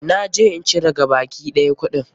Na je in cire gabaki ɗaya kuɗina.